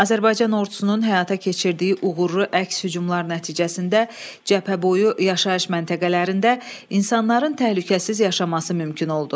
Azərbaycan Ordusunun həyata keçirdiyi uğurlu əks-hücumlar nəticəsində cəbhəboyu yaşayış məntəqələrində insanların təhlükəsiz yaşaması mümkün oldu.